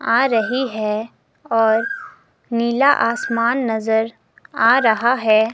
आ रही है और नीला आसमान नजर आ रहा है।